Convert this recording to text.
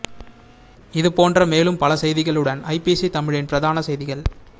இது போன்ற மேலும் பல செய்திகளுடன் ஐபிசி தமிழின் பிரதான செய்திகள்